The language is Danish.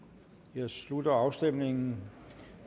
jeg slutter afstemningen